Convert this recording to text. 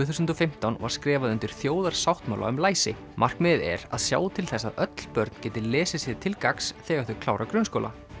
þúsund og fimmtán var skrifað undir þjóðarsáttmála um læsi markmiðið er að sjá til þess að öll börn geti lesið sér til gagns þegar þau klára grunnskóla